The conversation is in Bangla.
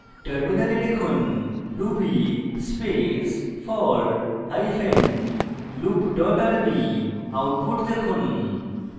terminal লিখুন ruby space for hyphen loop dot rb output দেখুন